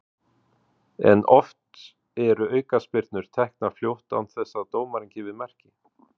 En oft eru aukaspyrnur teknar fljótt án þess að dómarinn gefi merki.